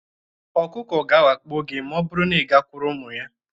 Ọkụkọ ga-awakpo gị ma ọ bụrụ na ị gakwuru ụmụ ya